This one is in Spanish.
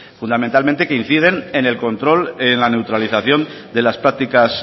fundamentalmente que inciden en el control en la neutralización de las prácticas